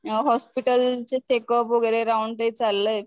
अ hospital चे checkup वगैरे round ते चाललंय.